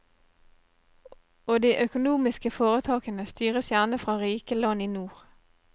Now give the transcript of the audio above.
Og de økomomiske foretakene styres gjerne fra rike land i nord.